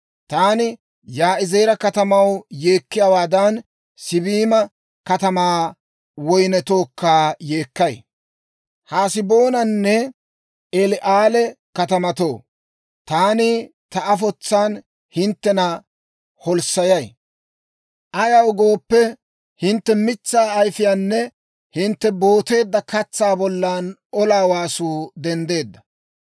Taani Yaa'izeera katamaw yeekkiyaawaadan, Siibima katamaa woynnetookka yeekkay. Haseboonanne El"aale katamatoo, taani ta afotsaan hinttena holssayay. Ayaw gooppe, hintte mitsaa ayifiyaanne hintte booteedda katsaa bollan olaa waasuu denddeedda.